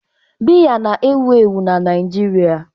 Biya na-ewu ewu n'Naịjirịa.